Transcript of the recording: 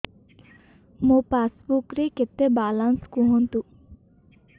ମୋ ପାସବୁକ୍ ରେ କେତେ ବାଲାନ୍ସ କୁହନ୍ତୁ